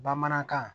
Bamanankan